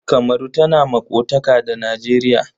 Kamaru tana maƙotaka da Nijeriya.